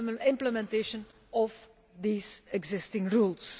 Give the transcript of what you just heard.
implementation of these existing rules.